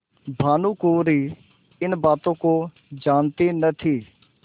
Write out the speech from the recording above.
भानुकुँवरि इन बातों को जानती न थी